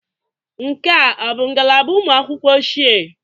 Nke a ọ bụ ngalaba ụmụ akwụkwọ ochie?